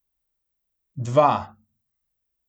Dva.